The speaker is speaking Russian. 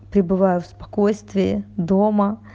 пребываю в спокойствии дома